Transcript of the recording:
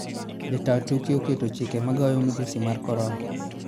jotaa tuke oketo chike magayo madhusi mag Corona.